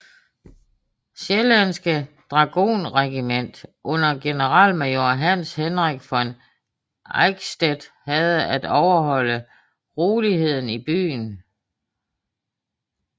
Sjællandske dragonregiment under generalmajor Hans Henrik von Eickstedt havde at overholde roligheden i byen